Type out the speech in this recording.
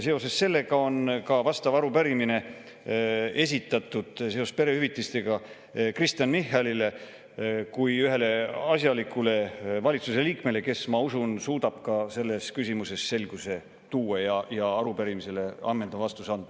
Seoses sellega on arupärimine esitatud perehüvitiste koha Kristen Michalile kui ühele asjalikule valitsusliikmele, kes, ma usun, suudab ka selles küsimuses selguse tuua ja arupärimisele ammendava vastuse anda.